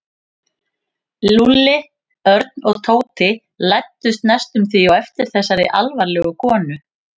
Lúlli, Örn og Tóti læddust næstum því á eftir þessari alvarlegu konu.